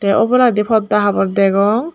te oboladi porda habor degong.